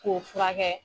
K'o furakɛ